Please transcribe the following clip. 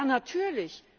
Ja, natürlich.